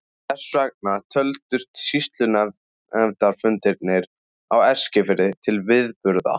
Þess vegna töldust sýslunefndarfundirnir á Eskifirði til viðburða.